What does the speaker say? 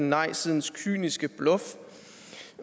nej sidens kyniske bluff